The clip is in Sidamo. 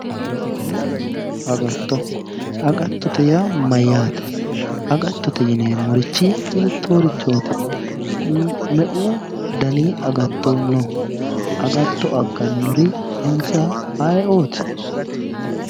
Agatto, agattote yaa mayyaate? agattote yineemmorichi hiittoorichooti, meu dani agatto no? agatto aggannori insa ayeeooti?